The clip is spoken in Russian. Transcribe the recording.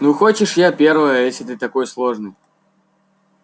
ну хочешь я первая если ты такой сложный